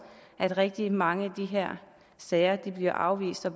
at rigtig mange af de her sager bliver afvist og